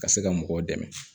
Ka se ka mɔgɔw dɛmɛ